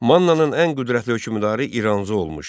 Mannanın ən qüdrətli hökmdarı İranzu olmuşdur.